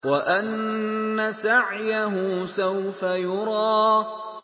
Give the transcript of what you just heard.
وَأَنَّ سَعْيَهُ سَوْفَ يُرَىٰ